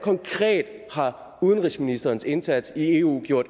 har udenrigsministerens indsats i eu